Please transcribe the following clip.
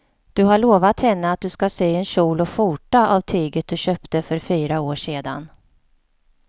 Du har lovat henne att du ska sy en kjol och skjorta av tyget du köpte för fyra år sedan.